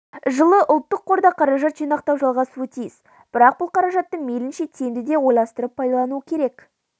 жылы ұлттық қорда қаражат жинақтау жалғасуы тиіс бірақ бұл қаражатты мейілінше тиімді де ойластырып пайдалану керек